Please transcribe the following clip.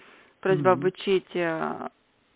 угу то есть обучить